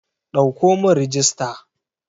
Ɗauko mun rijista!